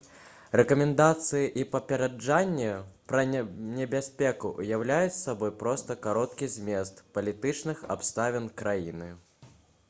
рэкамендацыі і папярэджанні пра небяспеку ўяўляюць сабой проста кароткі змест палітычных абставін краіны